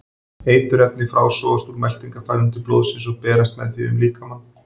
Eiturefnin frásogast úr meltingarfærunum til blóðsins og berast með því um líkamann.